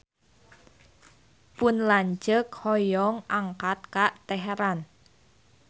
Pun lanceuk hoyong angkat ka Teheran